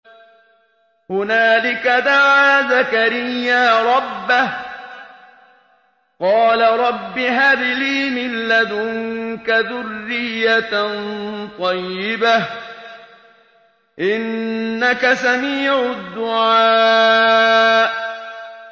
هُنَالِكَ دَعَا زَكَرِيَّا رَبَّهُ ۖ قَالَ رَبِّ هَبْ لِي مِن لَّدُنكَ ذُرِّيَّةً طَيِّبَةً ۖ إِنَّكَ سَمِيعُ الدُّعَاءِ